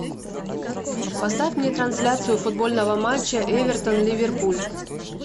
поставь мне трансляцию футбольного матча эвертон ливерпуль